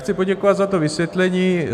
Chci poděkovat za to vysvětlení.